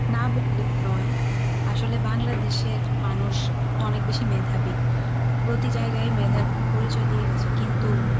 না বললেই নয় আসলে বাংলাদেশের মানুষ অনেক বেশি মেধাবী প্রতি জায়গায় মেধার পরিচয় দিয়ে গেছে কিন্তু